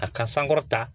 A ka sankɔrɔta